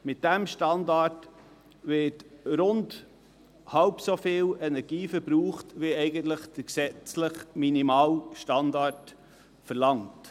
Mit diesem Standard wird rund halb so viel Energie verbraucht wie es der gesetzliche Minimalstandard eigentlich verlangt.